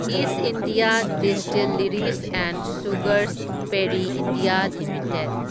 ꯢꯁ India Distilleries and Sugars Parry India limited